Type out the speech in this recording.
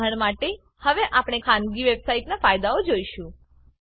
ઉદાહરણ માટે હવે આપણે ખાનગી વેબસાઈટનાં ફાયદાઓ જોઈશું